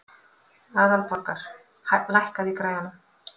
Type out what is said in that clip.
Aðalborgar, lækkaðu í græjunum.